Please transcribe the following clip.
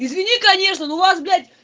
извини конечно но у вас блядь